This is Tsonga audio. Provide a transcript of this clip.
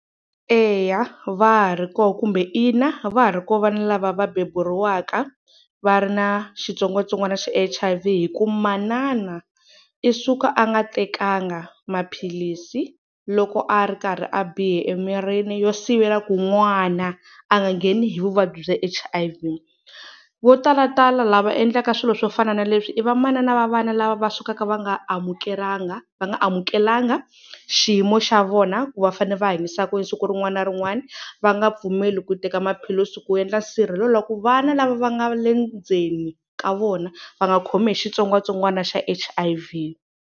Eya va ha ri koho kumbe ina, va ha ri ko vana lava va beburiwaka va ri na xitsongwatsongwana xa H_I_V hi ku manana i suka a nga tekanga maphilisi, loko a ri karhi a bihe emirini yo sivela ku n'wana a nga ngheni hi vuvabyi bya H_I_V. Vo talatala lava endlaka swilo swo fana na leswi i va manana va vana lava va sukaka va nga amukelanga va nga amukelanga xiyimo xa vona ku va fane va hanyisa ku yini siku rin'wana na rin'wana, va nga pfumeli ku teka maphilisi ku endla nsirhelelo wa ku vana lava va nga le ndzeni ka vona va nga khomiwi hi xitsongwatsongwana xa H_I_V.